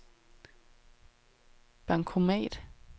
bankomat